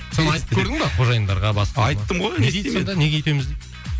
соны айтып көрдің ба қожайындарға басқаға айттым ғой не дейді сонда неге өйтеміз дейді